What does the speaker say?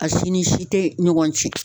A si ni si te ɲɔgɔn cɛn